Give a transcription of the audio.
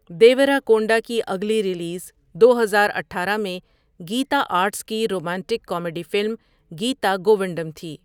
دیوراکونڈا کی اگلی ریلیز دو ہزار اٹھارہ میں گیتا آرٹس کی romantic comedy film Geetha Govindam تھی۔